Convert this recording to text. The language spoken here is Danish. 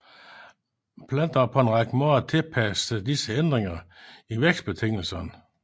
Planter har på en række måder tilpasset sig disse ændringer i vækstbetingelserne